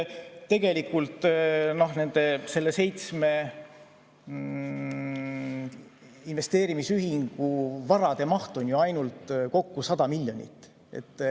Tegelikult nende seitsme investeerimisühingu varade maht on ju kokku ainult 100 miljonit.